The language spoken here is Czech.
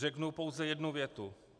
Řeknu pouze jednu větu.